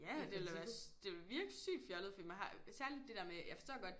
Ja det ville da være det ville virke sygt fjollet fordi man har især det der med jeg forstår godt